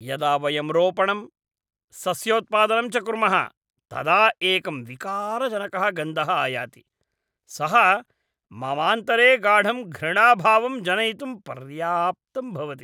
यदा वयं रोपणं, सस्योत्पादनं च कुर्मः तदा एकं विकारजनकः गन्धः आयाति, सः ममान्तरे गाढं घृणाभावं जनयितुं पर्याप्तं भवति।